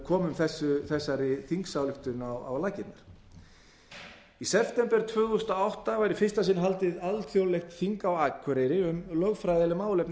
komum þessari þingsályktun á laggirnar í september tvö þúsund og átta var í fyrsta sinn haldið alþjóðlegt þing á akureyri um lögfræðileg málefni